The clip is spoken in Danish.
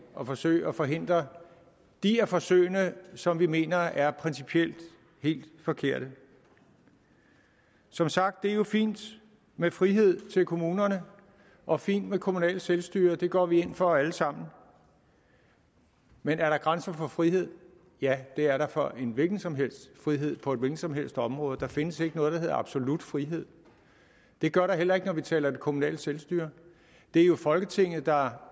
at forsøge at forhindre de af forsøgene som vi mener er principielt helt forkerte som sagt er det jo fint med frihed til kommunerne og fint med kommunalt selvstyre det går vi ind for alle sammen men er der grænser for frihed ja det er der for en hvilken som helst frihed på et hvilket som helst område der findes ikke noget der hedder absolut frihed det gør der heller ikke når vi taler om det kommunale selvstyre det er jo folketinget der